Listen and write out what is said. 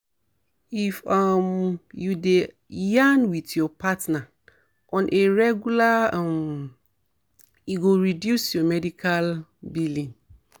if um you dey yarn with your partner on a regular um e go reduce your medical um billing